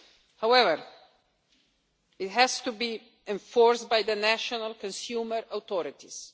practices. However, it has to be enforced by the national consumer